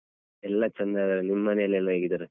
ಎಲ್ಲ ಚೆಂದ ಅದರಾ ನಿಮ್ಮನೆಯಯೆಲ್ಲ ಹೇಗಿದ್ದಾರೆ?